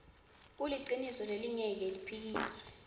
kuliciniso lelingeke liphikiswe